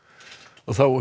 þá að